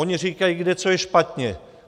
Oni říkají, kde co je špatně.